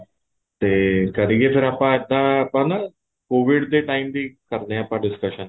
ਤੇ ਕਰੀਏ ਫ਼ਿਰ ਅੱਜ ਦਾ ਆਪਾਂ ਨਾ COVID ਦੇ time ਦੀ ਕਰਦੇ ਹਾਂ ਆਪਾਂ discussion